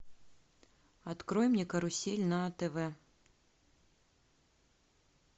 открой мне карусель на тв